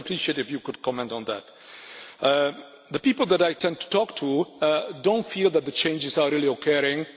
I would appreciate it if you could comment on that. The people that I tend to talk to do not feel that the changes are really occurring.